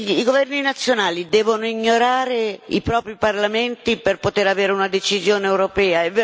I governi nazionali devono ignorare i propri parlamenti per poter giungere a una decisione europea?